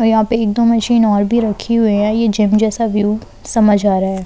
और यहां पे एक दो मशीन और भी रखी हुई है ये जिम जैसा व्यू समझ आ रहा है।